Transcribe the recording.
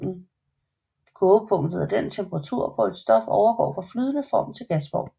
Kogepunktet er den temperatur hvor et stof overgår fra flydende form til gasform